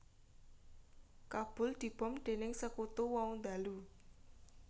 Kabul dibom dening sekutu wau ndalu